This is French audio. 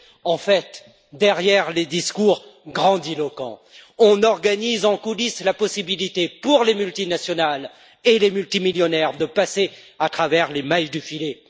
En fait, derrière les discours grandiloquents, on organise en coulisses la possibilité pour les multinationales et les multimillionnaires de passer à travers les mailles du filet.